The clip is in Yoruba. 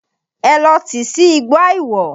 Ẹ lọ tìí sí igbó àìwọ̀!